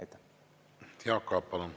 Jaak Aab, palun!